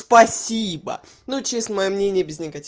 спасибо ну честное мнение без негатива